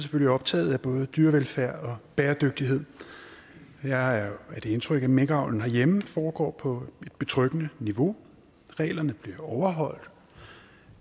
optaget af både dyrevelfærd og bæredygtighed jeg er af det indtryk at minkavlen herhjemme foregår på et betryggende niveau reglerne bliver overholdt